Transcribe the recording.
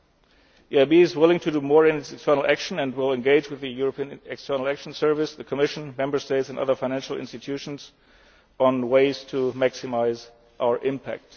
Bonds. The EIB is willing to do more in its external action and will engage with the European External Action Service, the Commission, Member States and other financial institutions on ways to maximise our